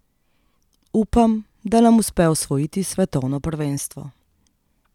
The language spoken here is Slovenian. Upam, da nam uspe osvojiti svetovno prvenstvo.